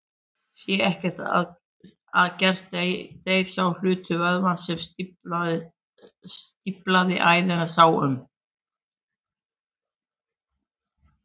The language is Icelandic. Sé ekkert að gert deyr sá hluti vöðvans sem stíflaða æðin sá um.